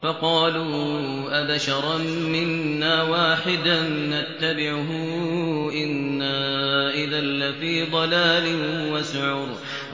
فَقَالُوا أَبَشَرًا مِّنَّا وَاحِدًا نَّتَّبِعُهُ إِنَّا إِذًا لَّفِي ضَلَالٍ وَسُعُرٍ